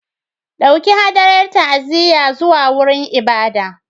Ɗauki hadayar ta'aziyya zuwa wurin ibada.